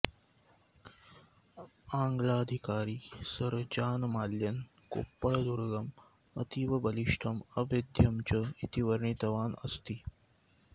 आङ्गलाधिकारी sir John माल्यन् कोप्पळदुर्गम् अतीव बलिष्ठम् अभेद्यं च इति वर्णितवान् अस्ति